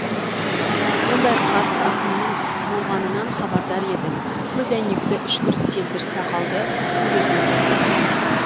ондай қарт ақынның болғанынан хабардар едім көзәйнекті үшкір селдір сақалды суретін де көргенмін